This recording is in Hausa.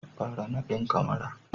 fara nadin kamara